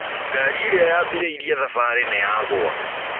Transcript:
Ngarĩ ĩrĩa yabĩrĩĩrĩe thabarĩ nĩyagũa.